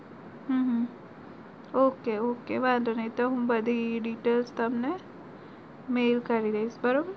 Okay okay વાંધો નઈ તો બધી details તમને મેઇલ કરી દઈસ